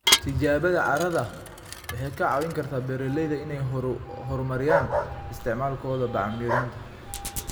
Tijaabada carrada waxay ka caawin kartaa beeralayda inay horumariyaan isticmaalkooda bacriminta.